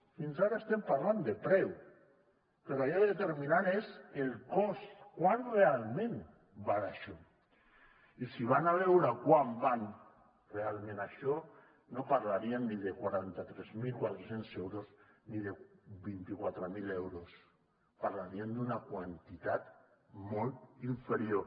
fins ara estem pagant de preu però allò determinant és el cost quant realment val això i si van a veure quant val realment això no parlaríem ni de quaranta tres mil quatre cents euros ni de vint quatre mil euros parlaríem d’una quantitat molt inferior